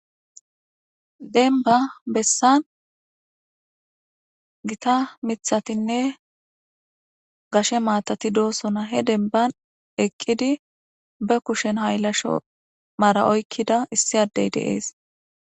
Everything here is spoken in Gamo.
denba bessan gita mithatinne gashe maatati doosona he denban eqqidi be kushen hayllasho maara oykkida issi addey deees